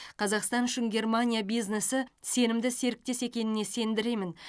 қазақстан үшін германия бизнесі сенімді серіктес екеніне сендіремін